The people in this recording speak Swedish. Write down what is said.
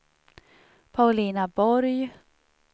Paulina Borg